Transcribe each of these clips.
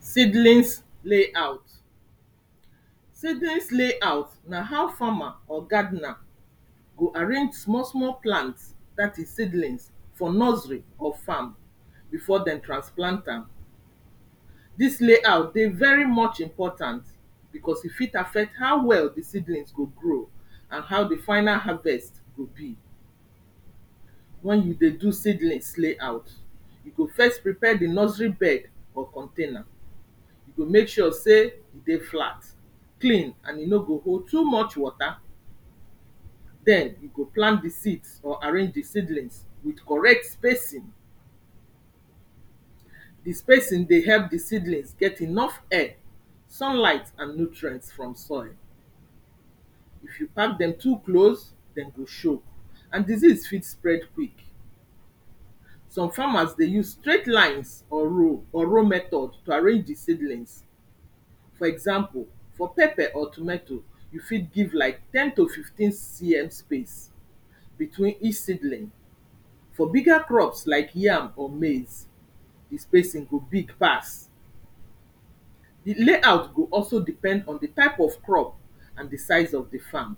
Seedlings layout, seedlings layout na how farmer or gardener go arrange small small plants, dat is seedlings for nursery or farm before dem transplant am. Dis layout dey very much important becos e fit affect how well de seedlings go grow and how de final harvest go be. When you dey do seedlings layout, you go first prepare de nursery bed or container, you go make sure sey e dey flat, clean and e no go hold too much wata, then you go plan de seeds or arrange de seedlings with correct spacing. De spacing dey help de seedlings get enough air, sunlight and nutrients from soil. If you pack dem too close, dem go shoke and disease fit spread quick. Some farmers dey use straight lines or row or row method to arrange de seedlings. For example, for pepper or tometo, you fit give like ten to fifteen CM space between each seedling. For bigger crops like yam or maize, de spacing go big pass. De layout go also depend on de type of crop and de size of de farm.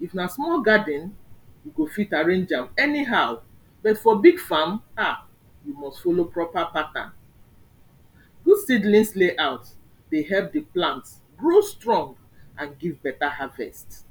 If na small garden, you go fit arrange am anyhow but for big farm, ah, you must follow proper pattern. Good seedlings layout dey help de plant grow strong and give better harvest.